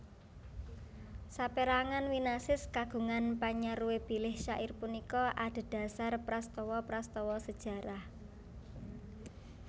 Saperangan winasis kagungan panyaruwe bilih syair punika adhedhasar prastawa prastawa sejarah